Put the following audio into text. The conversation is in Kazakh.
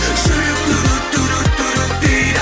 жүрек дейді